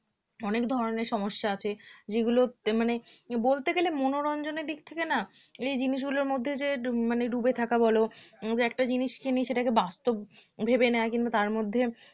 অনেক ধরনের সমস্যা আছে যেগুলো মানে বলতে গেলে মনোরঞ্জনের দিক থেকে না এই জিনিসগুলোর মধ্যে যে ডুবে থাকা বলো যে একটা জিনিস কিনে সেটাকে বাস্তব ভেবে নেয় কিন্তু তার মধ্যে